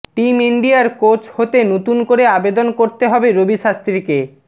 team ইন্ডিয়ার coach হতে নতুন করে আবেদন করতে হবে রবি শাস্ত্রীকে